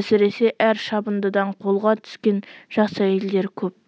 әсіресе әр шабындыдан қолға түскен жас әйелдер көп